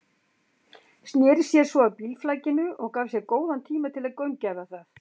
Sneri sér svo að bílflakinu og gaf sér góðan tíma til að gaumgæfa það.